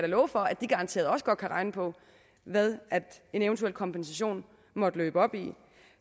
love for at de garanteret også godt kan regne på hvad en eventuel kompensation måtte løbe op i